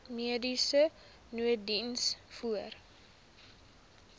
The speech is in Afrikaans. mediese nooddiens voor